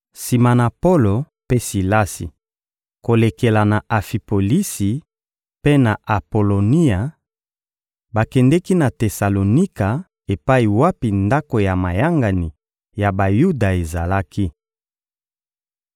Sima na Polo mpe Silasi kolekela na Afipolisi mpe na Apolonia, bakendeki na Tesalonika epai wapi ndako ya mayangani ya Bayuda ezalaki.